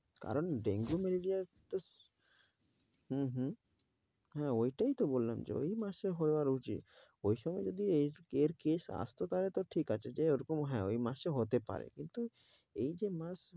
কারন dengue, malaria তো হম হম হ্যাঁ ঐটাইতো বললাম যে, ঐ মাসে হওয়ার উচিত। ওই সময় যদি এর case আসত তাহলে ঠিক আছে যে ওরকম হ্যাঁ এই মাসে হতে পারে। কিন্তু এই যে মাস